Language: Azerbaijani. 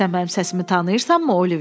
Sən mənim səsimi tanıyırsanmı Oliver?